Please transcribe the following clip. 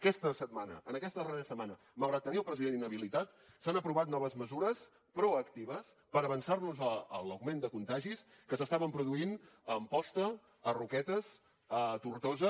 en aquesta darrera setmana malgrat tenir el president inhabilitat s’han aprovat noves mesures proactives per avançar nos a l’augment de contagis que s’estaven produint a amposta a roquetes a tortosa